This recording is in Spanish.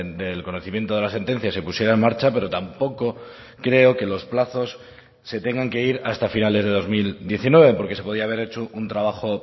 del conocimiento de la sentencia se pusiera en marcha pero tampoco creo que los plazos se tengan que ir hasta finales de dos mil diecinueve porque se podía haber hecho un trabajo